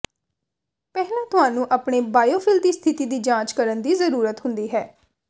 ਪਹਿਲਾਂ ਤੁਹਾਨੂੰ ਆਪਣੇ ਬਾਇਓਫਿਲ ਦੀ ਸਥਿਤੀ ਦੀ ਜਾਂਚ ਕਰਨ ਦੀ ਜ਼ਰੂਰਤ ਹੁੰਦੀ ਹੈ